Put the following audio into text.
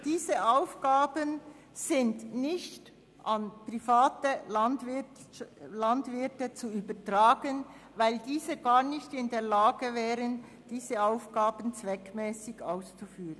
Diese Aufgaben sind nicht an private Landwirte zu übertragen, weil diese gar nicht in der Lage wären, diese Aufgaben zweckmässig auszuführen.